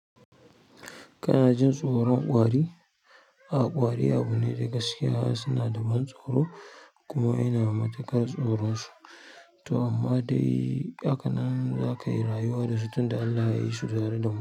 Kana jin tsoron ƙwari? A ƙwari abu ne dai gaskiya suna da ban tsoro, kuma ina matuƙar tsoron su. To, amma dai haka nan zakayi rayuwa dasu tunda Allah yayi su tare damu.